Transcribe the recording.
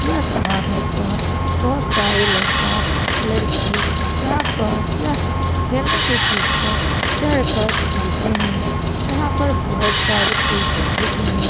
यह समानों पर बहोत सारे लड़का लड़की यहाँ पर यह खेलने की चीज़ पर चढ़ कर खेलते हैं यहाँ पर बहोत सारे पेड़-पौधे भी हैं।